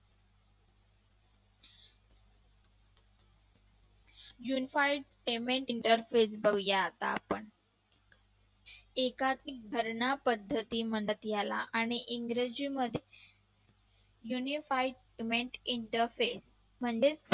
Unified payment interface बघूया आता आपण एका धरणा पद्धती मनात यायला आणि इंग्रजीमध्ये Unified payment interface म्हणजेच